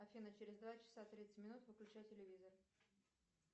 афина через два часа тридцать минут выключай телевизор